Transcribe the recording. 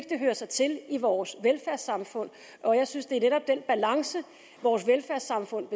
det hører sig til i vores velfærdssamfund og jeg synes det netop er den balance vores velfærdssamfund